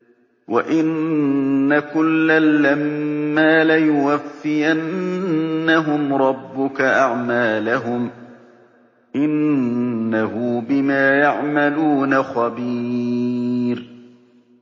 وَإِنَّ كُلًّا لَّمَّا لَيُوَفِّيَنَّهُمْ رَبُّكَ أَعْمَالَهُمْ ۚ إِنَّهُ بِمَا يَعْمَلُونَ خَبِيرٌ